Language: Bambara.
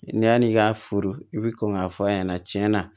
Ni yann'i ka furu i bi kɔn k'a fɔ a ɲɛna cɛn na